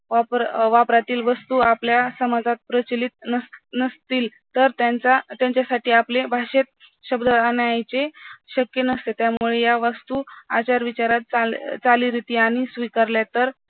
वापरातील वस्तू आपल्या समाजात प्रचिलीत नसतील तर त्याच्या साठी आपले भाषेत शब्द आणायचे शक्य नसते त्या मुळे या वस्तू आचार विचारात चाली रीती आणि स्वीकारले तर